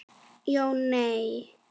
Jón: Nei.